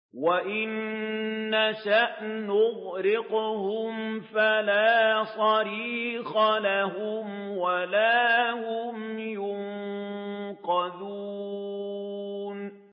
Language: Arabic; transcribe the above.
وَإِن نَّشَأْ نُغْرِقْهُمْ فَلَا صَرِيخَ لَهُمْ وَلَا هُمْ يُنقَذُونَ